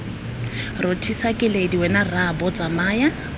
rothisa keledi wena rraabo tsamaya